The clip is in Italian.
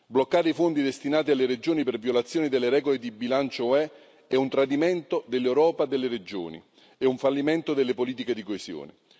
Bloccare i fondi destinati alle regioni per violazioni delle regole di bilancio UE è un tradimento dell'Europa delle regioni e un fallimento delle politiche di coesione.